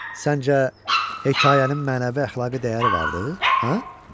Səncə hekayənin mənəvi əxlaqi dəyəri vardır, hə?